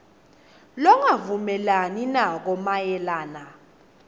longavumelani nako mayelana